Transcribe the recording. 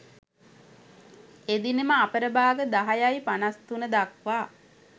එදිනම අපර භාග 10.53 දක්වා